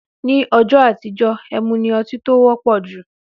Ní õjõ àtíjö, èmú ni õtí tó wõpõ jú